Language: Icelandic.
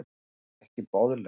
Annað er ekki boðlegt.